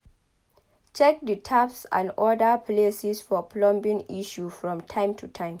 check di taps and oda places for plumbing issue from time to time